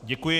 Děkuji.